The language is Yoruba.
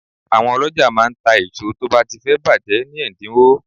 Àwọn ọlọ́jà máa ń ta èso tó bá ti fẹ́ bàjẹ́ ni ẹ̀dínwó.